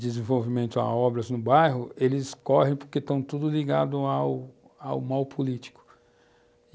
desenvolvimento a obras no bairro, eles correm porque estão todos ligados ao mal político.